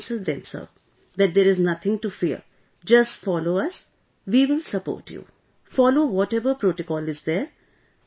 Then we counselled them Sir, that there is nothing to fear, just follow us ... we will support you ... follow whatever protocol is there